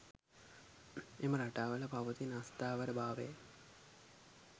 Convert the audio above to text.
එම රටාවල පවතින අස්ථාවර භාවයයි.